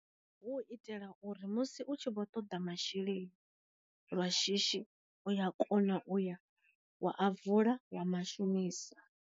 Hu i tela uri musi u tshi vho toḓa masheleni lwa shishi, u ya kona u ya wa a vula wa ma shumisa.